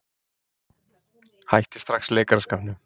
Hætti strax leikaraskapnum.